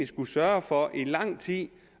skullet sørge for i lang tid